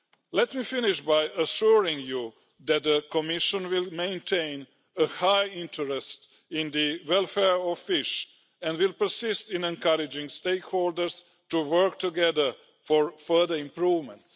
Let me finish by assuring you that the Commission will maintain a high interest in the welfare of fish and will persist in encouraging stakeholders to work together for further improvements.